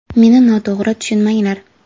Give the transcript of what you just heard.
Meni noto‘g‘ri tushunmanglar.